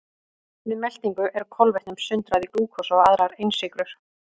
Við meltingu er kolvetnum sundrað í glúkósa og aðrar einsykrur.